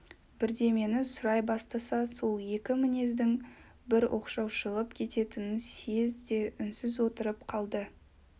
бірдемені сұрай бастаса сол екі мінездің бір оқшау шығып кететінін съезд де үнсіз отырып қалды